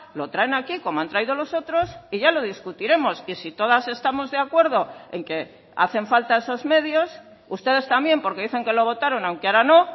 lo traen aquí como han traído los otros y ya lo discutiremos que si todas estamos de acuerdo en que hacen falta esos medios ustedes también porque dicen que lo votaron aunque ahora no